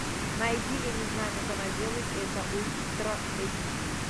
найди я не знаю как она делает это ультра эйч ди